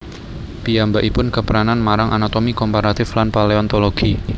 Piyambakipun kepranan marang anatomi komparatif lan paleontologi